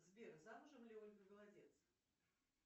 сбер замужем ли ольга голодец